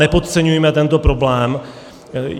Nepodceňujme tento problém.